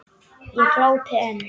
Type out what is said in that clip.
Ég glápi enn.